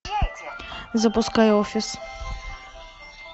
запускай офис